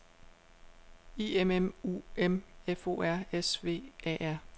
I M M U M F O R S V A R